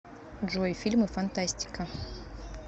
джой фильмы фантастика